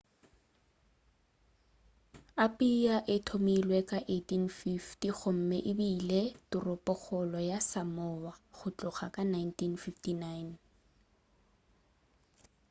apia e thomilwe ka di 1850 gomme ebile toropokgolo ya samoa go tloga ka 1959